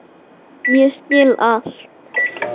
Ég skil allt!